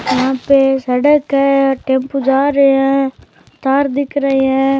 यहाँ पे सड़क है टेम्पू जा रेया है तार दिख रहे है।